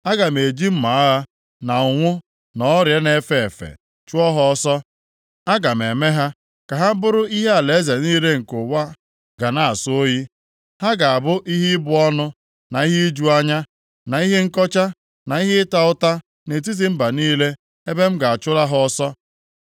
Aga m eji mma agha, na ụnwụ, na ọrịa na-efe efe, chụọ ha ọsọ. Aga m eme ha ka ha bụrụ ihe alaeze niile nke ụwa ga na-asọ oyi. Ha ga-abụ ihe ịbụ ọnụ, na ihe iju anya, na ihe nkọcha, na ihe ịta ụta nʼetiti mba niile ebe m ga-achụla ha ọsọ.